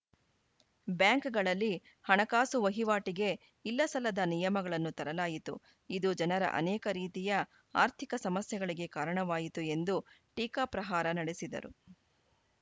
bank ಗಳಲ್ಲಿ ಹಣಕಾಸು ವಹಿವಾಟಿಗೆ ಇಲ್ಲಸಲ್ಲದ ನಿಯಮಗಳನ್ನು ತರಲಾಯಿತು ಇದು ಜನರ ಆನೇಕ ರೀತಿಯ ಆರ್ಥಿಕ ಸಮಸ್ಯೆಗಳಿಗೆ ಕಾರಣವಾಯಿತು ಎಂದು ಟೀಕಾ ಪ್ರಹಾರ ನಡೆಸಿದರು